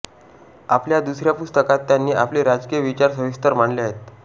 आपल्या दुसऱ्या पुस्तकात त्यांनी आपले राजकीय विचार सविस्तर मांडले आहेत